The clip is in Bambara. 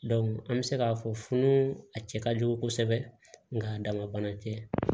an bɛ se k'a fɔ funu a cɛ ka jugu kosɛbɛ nka a dama tɛ